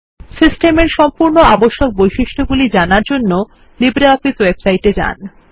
সিস্টেমের সম্পূর্ণ আবশ্যক বৈশিষ্ট্যগুলি জানার জন্যে লিব্রিঅফিস ওয়েবসাইটে যান